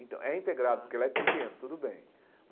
Então, é integrado, porque lá é pequeno, tudo bem.